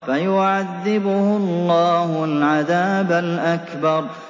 فَيُعَذِّبُهُ اللَّهُ الْعَذَابَ الْأَكْبَرَ